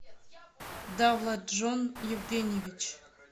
давлатджон евгеньевич